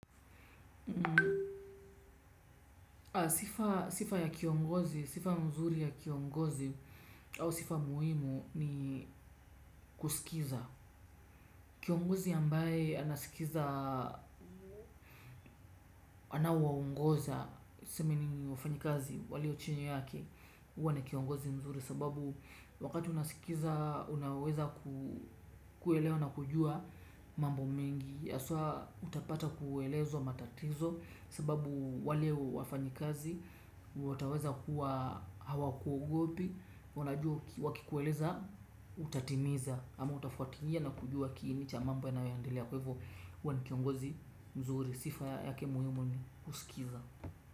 Sifa ya kiongozi, sifa mzuri ya kiongozi au sifa muhimu ni kusikiza. Kiongozi ambaye anasikiza anawaongoza tuseme ni wafanyikazi walio chini yake. Huwa na kiongozi mzuri sababu wakati unasikiza unaweza kuelewa na kujua mambo mengi. Yaswa utapata kuelezwa matatizo sababu wale wafanyikazi, wataweza kuwa hawakuogopi, wanajua wakikueleza utatimiza ama utafuatilia na kujua kiini cha mambo yanayoendelea kwa ivo huwa ni kiongozi mzuri sifa yake muhimu ni kusikiza.